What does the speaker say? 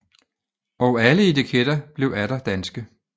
Og alle etiketter blev atter danske